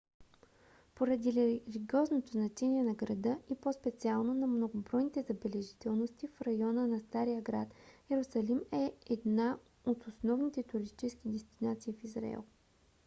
поради религиозното значение на града и по-специално на многобройните забележителности в района на стария град йерусалим е една от основните туристически дестинации в израел